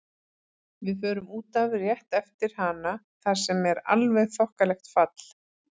Við förum út af rétt eftir hana þar sem er alveg þokkalegt fall.